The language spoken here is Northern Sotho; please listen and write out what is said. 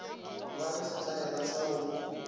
ba le setlaela sa go